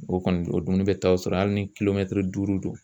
O kɔni o dumuni bɛ taa o sɔrɔ hali ni duuru don